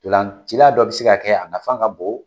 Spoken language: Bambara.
Ntolacila dɔ bɛ se ka kɛ a nafan ka bon